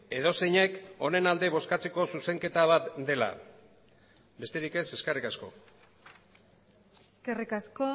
edozeinek honen alde bozkatzeko zuzenketa bat dela besterik ez eskerrik asko eskerrik asko